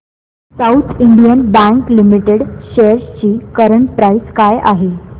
south Indian Bank Limited shares ची current price काय आहे